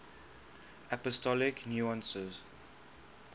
apostolic nuncios